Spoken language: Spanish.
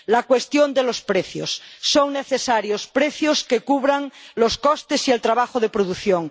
La cuestión de los precios son necesarios precios que cubran los costes y el trabajo de producción